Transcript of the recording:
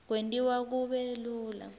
kwentiwa kube lula